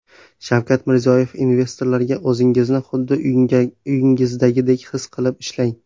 Shavkat Mirziyoyev investorlarga: O‘zingizni xuddi uyingizdagidek his qilib ishlang .